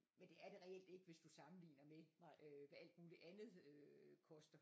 Men det er det reelt ikke hvis du sammenligner med øh hvad alt muligt andet øh koster